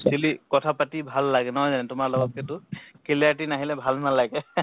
actually কথা পাতি ভাল লাগে নহয় জানো তোমাক লগাতকে তো clarity নাহিলে ভাল নালাগে